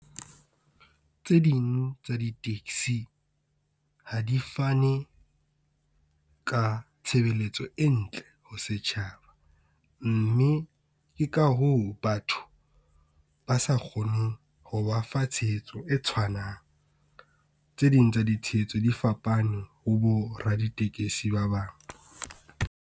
Tse ding tsa di taxi, ha di fane ka tshebeletso e ntle ho setjhaba, mme ke ka hoo batho ba sa kgoneng ho ba fa tshehetso e tshwanang. Tse ding tsa ditshehetso di fapane ho bo raditekesi ba bang.